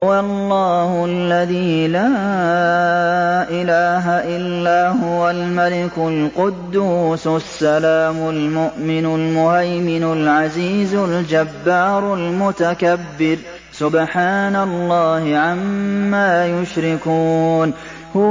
هُوَ اللَّهُ الَّذِي لَا إِلَٰهَ إِلَّا هُوَ الْمَلِكُ الْقُدُّوسُ السَّلَامُ الْمُؤْمِنُ الْمُهَيْمِنُ الْعَزِيزُ الْجَبَّارُ الْمُتَكَبِّرُ ۚ سُبْحَانَ اللَّهِ عَمَّا يُشْرِكُونَ